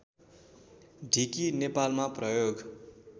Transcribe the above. ढिकी नेपालमा प्रयोग